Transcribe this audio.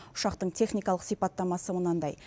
ұшақтың техникалық сипаттамасы мынадай